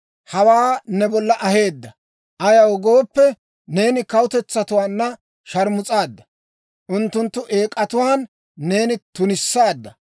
hawaa ne bolla aheedda. Ayaw gooppe, neeni kawutetsatuwaanna sharmus'aadda; unttunttu eek'atuwaan neena tunissaadda.